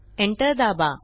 enter दाबा